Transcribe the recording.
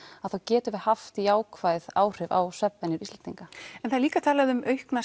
að þá getum við haft jákvæð áhrif á svefnvenjur Íslendinga en það er líka talað um aukna